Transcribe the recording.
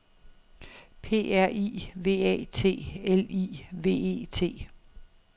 P R I V A T L I V E T